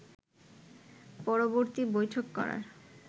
পরবর্তী বৈঠক করার